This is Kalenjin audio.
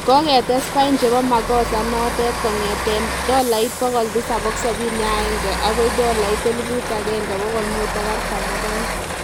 Koketes pain chebo makosa nondet kongeten tolait 771 akoi tolait 1542